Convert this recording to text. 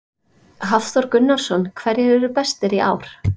Hafþór Gunnarsson: Hverjir eru bestir í ár?